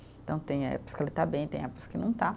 Então tem épocas que ele está bem, tem épocas que não está.